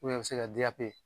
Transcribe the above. u bi se ka DAP